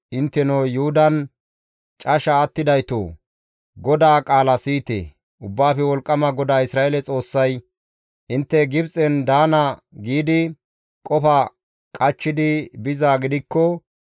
intteno Yuhudan casha attidaytoo! GODAA qaala siyite. Ubbaafe Wolqqama GODAA Isra7eele Xoossay, ‹Intte Gibxen daana giidi qofa qachchidi bizaa gidikko,